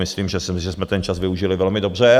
Myslím, že jsme ten čas využili velmi dobře.